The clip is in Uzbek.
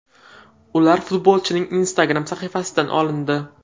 Ular futbolchining Instagram sahifasidan olindi.